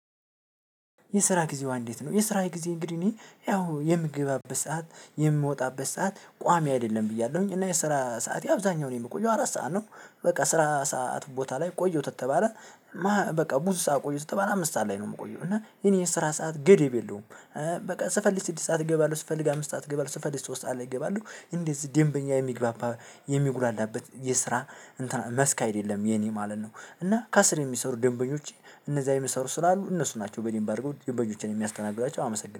የስራ ጊዜዋ እንዴት ነው የስራዬ ጊዜ እንግዲህ እኔ ያው የምገባበት ሰዓት የምወጣበት ሰዓት ቋሚ አይደለም ብያለሁኝ እና የስራ ሰዓቴ አብዛኛው የምቆየው አራት ሰዓት ነው በቃ ስራ ሰዓት ቦታ ላይ ቆየሁት ተተባለ በቃ ብዙ ሰዓት ቆየሁ ከተባለ አምስት ሰዓት ላይ ነው ምቆየው እና የእኔ የስራ ሰዓት ገደብ የለውም። በቃ ስፈልግ ስድስት ሰዓት እገባለሁ ስፈልግ አምስት ሰዓት እገባለሁ ስፈልግ ሶስት ሰዓት ላይ እገባለው። እንደዚህ ደንበኛ የሚግባ የሚጉላላበት የስራ እንትን መስክ አይደለም የኔ ማለት ነው። እና ከስር የሚሰሩ ደንበኞች እነዛ የሚሰሩ ስላሉ እነሱ ናቸው በደምብ አድርገው ደንበኞችን የሚያስተናግዷቸው አመሰግናለሁ።